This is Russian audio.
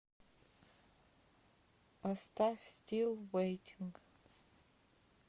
поставь стил вэйтинг